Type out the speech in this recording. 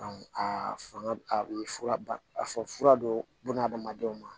aa fanga a bɛ fura ba a fɔra don adamadenw ma